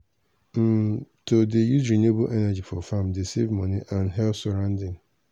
um to dey use renewable energy for farm dey save money and help surrounding.